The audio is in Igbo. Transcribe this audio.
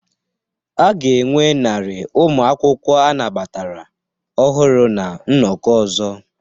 A ga-enwe narị ụmụ akwụkwọ anabatara ọhụrụ na nnọkọ ọzọ